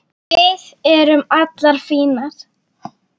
Við erum allar fínar